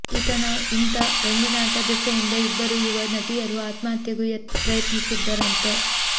ಈತನ ಇಂಥಾ ರಂಗಿನಾಟ ದೆಸೆಯಿಂದ ಇಬ್ಬರು ಯುವ ನಟಿಯರೂ ಆತ್ಮಹತ್ಯೆಗೂ ಪ್ರಯತ್ನಿಸಿದ್ರಂತೆ